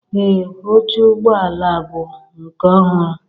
Ee oche ụgbọ ala bụ nke ọhụrụ